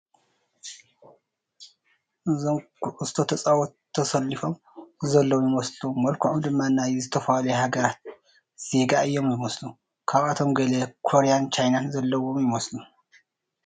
እዞም ኩዕሾ ተፃወቲ ተሰሊፎም ዘለዉ ይመስሉ መልከዖም ድማ ናይ ዝተፈላለዩ ሓገራት ዜጋ እዮም ዝመስሉ ካብኣቶም ገለ ኮርያን ቻይናን ዘለውዎም ይመስሉ ።